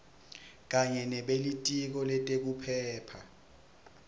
kanye nebelitiko letekuphepha